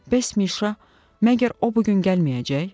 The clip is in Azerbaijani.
Bəs Mişa, məgər o bu gün gəlməyəcək?